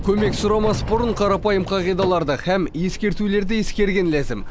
көмек сұрамас бұрын қарапайым қағидаларды һәм ескертулерді ескерген ләзім